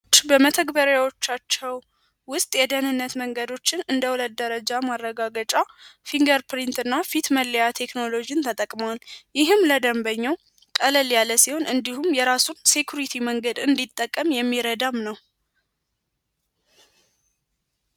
በመተግበሪያዎቻቸው ውስጥ የደህንነት መንገዶችን እንደ ሁለት ደረጃ ማረጋገጫ ፊንገር ፕሪንት እና ፊት መለያ ቴክኖሎጂን ተጠቅመዋል። ይህም ለደንበኛው ቀለል ያለ ሲሆን እንዲሁም የራሱን ሴኩሪቲ እንዲጠቀም የሚረዳም ነው።